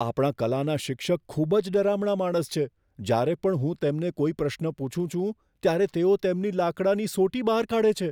આપણા કલાના શિક્ષક ખૂબ જ ડરામણા માણસ છે. જ્યારે પણ હું તેમને કોઈ પ્રશ્ન પૂછું છું, ત્યારે તેઓ તેમની લાકડાની સોટી બહાર કાઢે છે.